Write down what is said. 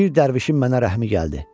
Bir dərvişin mənə rəhmi gəldi.